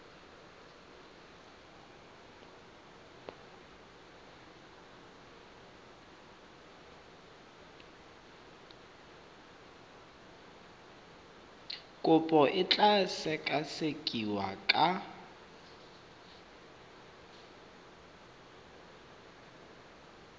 kopo e tla sekasekiwa ka